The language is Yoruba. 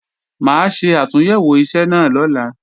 Mà á ṣe àtúnyẹ̀wò iṣẹ́ náà lọ́la